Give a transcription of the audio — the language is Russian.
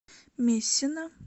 мессина